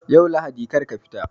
Yau Lahadi kar ka tafi!